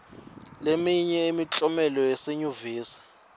leminye yemklomelo yaseyunivesi